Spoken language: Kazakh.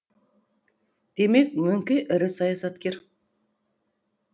демек мөңке ірі саясаткер